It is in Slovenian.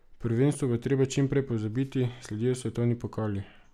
Prvenstvo bo treba čim prej pozabiti, sledijo svetovni pokali.